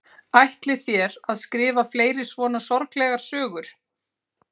Ætlið þér að skrifa fleiri svona sorglegar sögur?